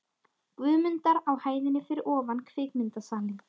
Guðmundar á hæðinni fyrir ofan kvikmyndasalinn.